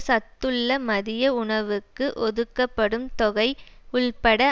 சத்துள்ள மதிய உணவுக்கு ஒதுக்கப்படும் தொகை உள்பட